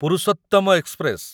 Purushottam express